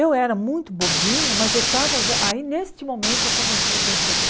Eu era muito bobinha, mas eu estava já... Aí, neste momento, eu comecei a perceber.